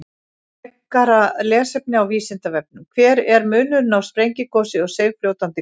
Frekara lesefni á Vísindavefnum: Hver er munurinn á sprengigosi og seigfljótandi gosi?